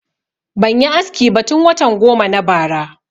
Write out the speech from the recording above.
Ban yi aski ba tun watan goma na bara